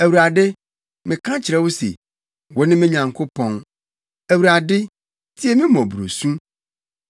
Awurade, meka kyerɛ wo se, “Wone me Nyankopɔn.” Awurade, tie me mmɔborɔsu.